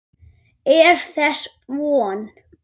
Er þess von?